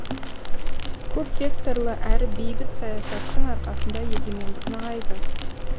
көпвекторлы әрі бейбіт саясаттың арқасында егемендік нығайды